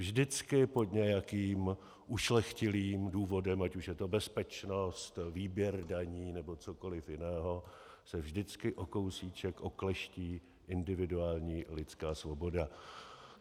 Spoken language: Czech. Vždycky pod nějakým ušlechtilým důvodem, ať už je to bezpečnost, výběr daní nebo cokoli jiného, se vždycky o kousíček okleští individuální lidská svoboda.